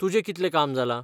तुजें कितलें काम जालां?